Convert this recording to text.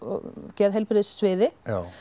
geðheilbrigðissviði